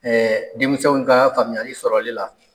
denmisɛnw ka faamuyali sɔrɔli la